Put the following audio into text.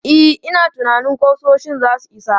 E, ina tunanin ƙusoshin za su isa.